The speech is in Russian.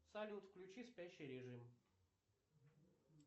салют включи спящий режим